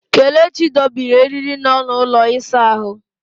Kelechi dobiri eriri nọ n'ụlọ ịsa ahụ.